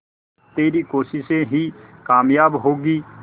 तेरी कोशिशें ही कामयाब होंगी